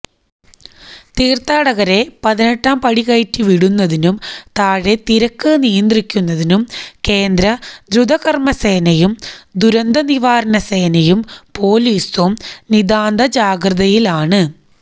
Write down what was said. തീര്ത്ഥാടകരെ പതിനെട്ടാം പടികയറ്റി വിടുന്നതിനും താഴെ തിരക്ക് നിയന്ത്രിക്കുന്നതിനും കേന്ദ്ര ദ്രുതകര്മ്മസേനയേയും ദുരന്തനിവാരണ സേനയേയും പോലീസും നിതാന്തജാഗ്രതയിലാണ്